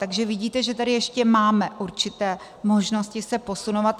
Takže vidíte, že tady ještě máme určité možnosti se posunovat.